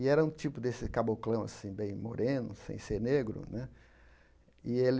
E era um tipo desse caboclão, assim, bem moreno, sem ser negro. Né e ele